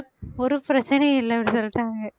ஒரு பிரச்சனையும் இல்லைன்னு சொல்லிட்டாங்க